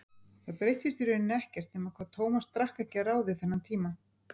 Það breyttist í rauninni ekkert nema hvað Tómas drakk ekki að ráði þennan tíma.